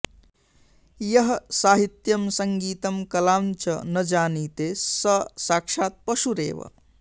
यः साहित्यं सङ्गीतं कलाञ्च न जानीते स साक्षात्पशुरेव